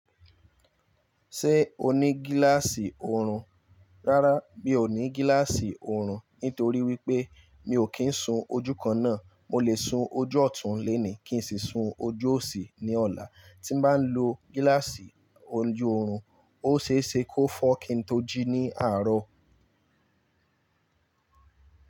Ṣé o ní gíláàsì oorun? Rárá, mi ò ní gíláàsì oorun nítorí wípé mi ò kí ń sun ojú kan náà. Mo lè sun ojú ọ̀tún lónìí kín n sì sun ojú òsì ní ọ̀la. Tí n bá lo gíláàsì ni oju orun, ó ṣe é ṣe kó fọ́ kín tó jí ní àárọ̀.